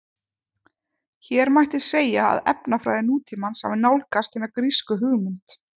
Hér mætti segja að efnafræði nútímans hafi nálgast hina grísku hugmynd.